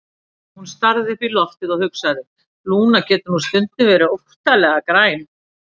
Hún starði upp í loftið og hugsaði: Lúna getur nú stundum verið óttalega græn.